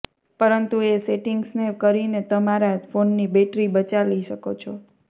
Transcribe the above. પરંતુ એ સેટિંગ્સને કરીને તમે તમારા ફોનની બેટરી બચાલી શકો છો